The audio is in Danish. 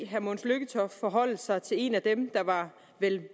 herre mogens lykketoft forholde sig til en af dem der var